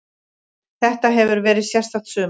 Þetta hefur verið sérstakt sumar.